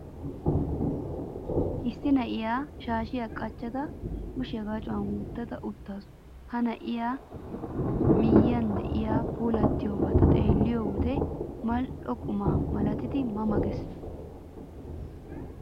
Issi na'iyaa shaashiyaa qacada, kushiyaa gacuwan wottada uttaasu. Ha na'ee miyyiyan de'iyaa puulattiyobata xeelliyo wode mal'o quma malatidi 'ma ma' gees.